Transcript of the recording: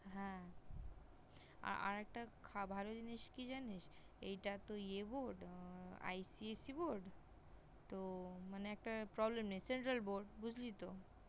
হ্যাঁ! আর একটা ভালো জিনিস কি জানিস? এই টা তো ইএ Board আহ ICSEBoard তো মানে একটা Problem নেই, মানে Central Board বুঝলি তো?